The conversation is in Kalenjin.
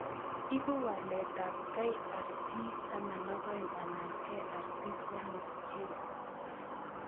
Ipu walet ab KRT12 anan KRT3 gene.